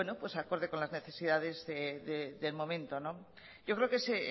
acorde con las necesidades del momento yo creo que es